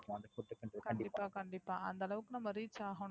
கண்டிப்பா கண்டிப்பா அந்த அளவுக்கு reach ஆகனும்.